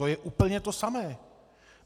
To je úplně to samé.